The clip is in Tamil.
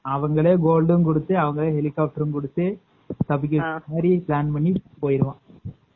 அவங்களே gold குடுத்து